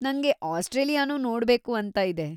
ನಂಗೆ ಆಸ್ಟ್ರೇಲಿಯಾನೂ ನೋಡ್ಬೇಕು ಅಂತ ಇದೆ.